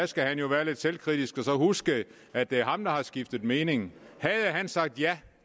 skal han jo være lidt selvkritisk og så huske at det er ham der har skiftet mening havde han sagt ja